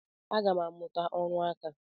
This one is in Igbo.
Agam aga muta oru nka.